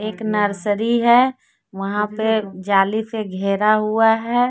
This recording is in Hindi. एक नर्सरी है वहां पे जाली से घेरा हुआ है।